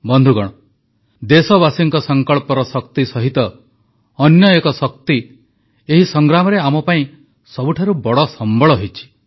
ବନ୍ଧୁଗଣ ଦେଶବାସୀଙ୍କ ସଂକଳ୍ପର ଶକ୍ତି ସହିତ ଅନ୍ୟ ଏକ ଶକ୍ତି ଏହି ସଂଗ୍ରାମରେ ଆମ ପାଇଁ ସବୁଠାରୁ ବଡ଼ ସମ୍ବଳ ହୋଇଛି